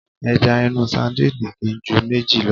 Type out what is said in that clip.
Ẹja inú sadíìnì kì í ju méjì lọ.